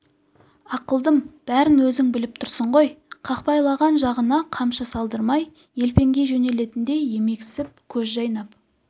ақылдым бәрін өзің біліп тұрсың ғой қақпайлаған жағына қамшы салдырмай елпеңдей жөнелетіндей емексіп көз жайнап